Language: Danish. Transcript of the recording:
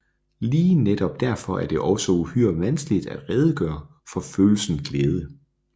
Lige netop derfor er det også uhyre vanskeligt at redegøre for følelsen glæde